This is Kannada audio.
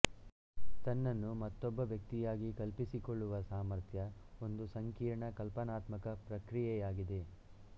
ತನ್ನನ್ನು ಮತ್ತೊಬ್ಬ ವ್ಯಕ್ತಿಯಾಗಿ ಕಲ್ಪಿಸಿಕೊಳ್ಳುವ ಸಾಮರ್ಥ್ಯ ಒಂದು ಸಂಕೀರ್ಣ ಕಲ್ಪನಾತ್ಮಕ ಪ್ರಕ್ರಿಯೆಯಾಗಿದೆ